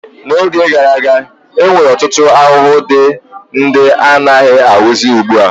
N'oge gara aga, e nwere ọtụtụ ahụhụ dị ndị anaghị ahụzi ugbua.